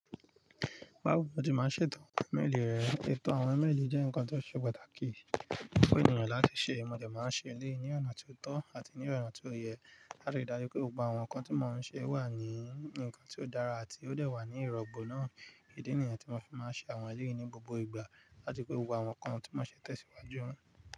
Bawo ni o ti máa ń ṣe eto meili rẹ? Eto meili jẹ́ nǹkan tó ṣe pàtàkì fun ènìyàn láti ṣe, mo de máa ń ṣe eleyii ní ọ̀nà ti o tọ́ àti ní ọ̀nà ti o yẹ. A lè ri dájú pé gbogbo àwọn nǹkan tí mo ṣe wà ní ǹkan tó dára àti ó dẹ̀ wà ní ìrọ̀gbọ̀ náà. Idi nìyan tí mo fi máa ń ṣe àwọn eleyìí ni gbogbo ìgbà láti pé gbogbo àwọn nǹkan tí mo ṣẹ̀ tẹ̀síwájú.